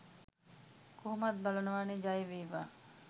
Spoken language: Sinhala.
කොහොමත් බලනවා නේ ජය වේවා.